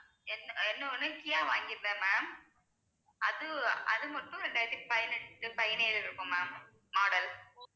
இன்னொன்னு கியா வாங்கிருந்தேன் ma'am அது, அது மட்டும் ரெண்டாயிரத்தி பதினெட்டு பதினேழு இருக்கும் ma'am model